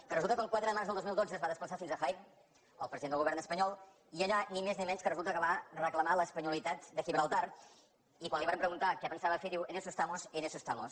que resulta que el quatre de març del dos mil dotze es va desplaçar fins a jaén el president del govern espanyol i allà ni més ni menys resulta que va reclamar l’espanyolitat de gibraltar i quan li varen preguntar què pensava fer diu en eso estamos en eso estamos